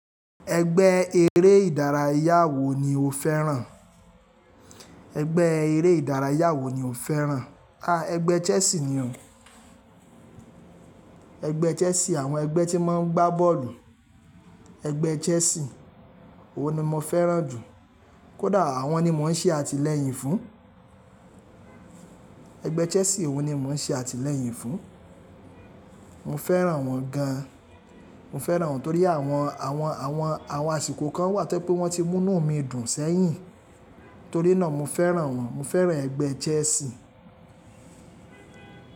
Ẹgbẹ́ eré ìdárayá wo ni o fẹ́ràn? Ẹgbẹ́ eré ìdárayá wo ni o fẹ́ràn? A! Egbẹ́ Chelsea ni oh. Ẹgbẹ́ Chelsea, àwọn ẹgbẹ́ tí máa ń gbá bọ́ọ̀lù, ẹgbẹ́ Chelsea, òun ni mo fẹ́ràn jù. Kódà àwọn ni mò ń ṣe àtìlẹ́yìn fún. Ẹgbẹ́ Chelsea òun ni mò ń ṣe àtìlẹ́yìn fún. Mo fẹ́ràn wọ́n gan. Mo fẹ́ràn wọ́n torí àwọn, àwọn, àwọn, àwọn àsìkò kan wà, to jẹ pé wọ́n ti mú inú mi dùn sẹ́yìn. Torí náà mo fẹ́ràn wọ́n. Mo fẹ́ràn ẹgbẹ́ Chelsea.